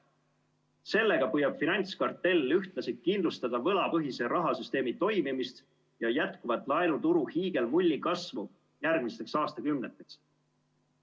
Sellega püüab finantskartell ühtlasi kindlustada võlapõhise rahasüsteemi toimimist ja jätkuvat laenuturu hiigelmulli kasvu järgmisteks aastakümneteks.